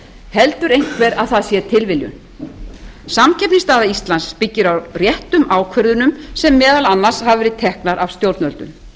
heldur einhver að það sé tilviljun samkeppnisstaða íslands byggir réttum ákvörðunum sem meðal annars hafa verið teknar af stjórnvöldum